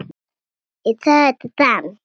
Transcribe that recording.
Hann þagnar um stund.